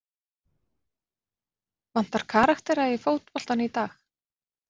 Vantar karaktera í fótboltann í dag?